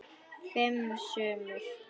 Fimm sumur